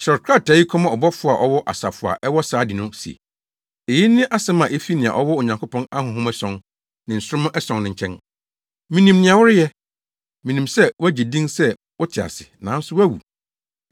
“Kyerɛw krataa yi kɔma ɔbɔfo a ɔwɔ asafo a ɛwɔ Sardi no se: Eyi ne asɛm a efi nea ɔwɔ Onyankopɔn ahonhom ason ne nsoromma ason no nkyɛn. Minim nea woreyɛ. Minim sɛ woagye din sɛ wote ase, nanso woawu.